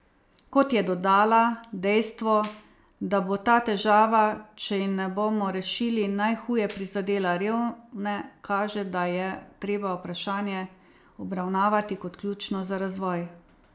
Kot je dodala, dejstvo, da bo ta težava, če je ne bomo rešili, najhuje prizadela revne, kaže, da je treba vprašanje obravnavati kot ključno za razvoj.